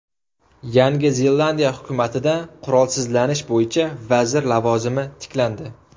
Yangi Zelandiya hukumatida qurolsizlanish bo‘yicha vazir lavozimi tiklandi.